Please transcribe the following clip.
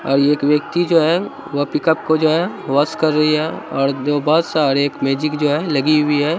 और एक व्यक्ति जो है वह पिकप को जो है वॉश कर रही है और दो बस और एक मैजिक जो है लगी हुई है।